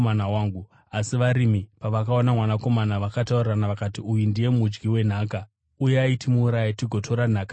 “Asi varimi pavakaona mwanakomana vakataurirana vakati, ‘Uyu ndiye mudyi wenhaka. Uyai timuuraye, tigotora nhaka yake.’